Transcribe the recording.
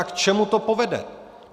A k čemu to povede?